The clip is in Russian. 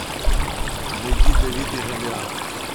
найди давид и голиаф